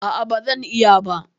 ah ah, bazan iya ba